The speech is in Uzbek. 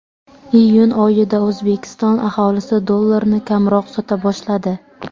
Iyun oyida O‘zbekiston aholisi dollarni kamroq sota boshladi.